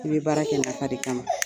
I bɛ baara kɛ nafa de kama,